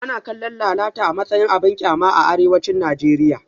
Ana kallon lalata a matsayin abin kyama a arewacin Najeriya